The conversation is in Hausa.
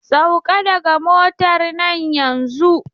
Sauka daga motar nan yanzun!